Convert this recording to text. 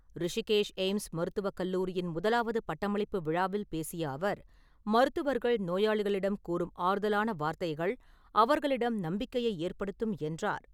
ரிஷிகேஷ் எய்ம்ஸ் மருத்துவக் கல்லூரியின் முதலாவது பட்டமளிப்பு விழாவில் பேசிய அவர், மருத்துவர்கள் நோயாளிகளிடம் கூறும் ஆறுதலான வார்த்தைகள் அவர்களிடம் நம்பிக்கையை ஏற்படுத்தும் என்றார்.